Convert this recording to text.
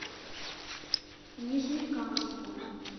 нижнекамску